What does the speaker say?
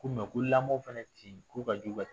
Ko ko lamɔn fɛnɛ tin, ko ka jugu ka